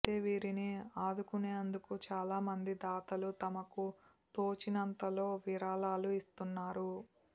అయితే వీరిని ఆదుకునేందుకు చాలా మంది దాతలు తమకు తోచినంతలో విరాళాలు ఇస్తున్నారు